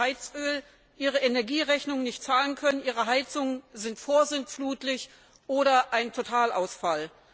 beim Heizöl, ihre Energierechnung nicht zahlen können, ihre Heizungen sind vorsintflutlich oder ein Totalausfall.